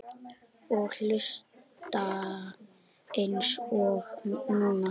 Og hlusta eins og núna.